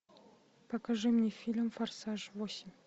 покажи мне фильм форсаж восемь